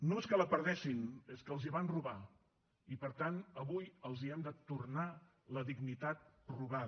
no és que la perdessin és que els la van robar i per tant avui els hem de tornar la dignitat robada